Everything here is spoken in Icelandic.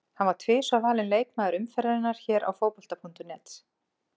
Hann var tvisvar valinn leikmaður umferðarinnar hér á Fótbolta.net.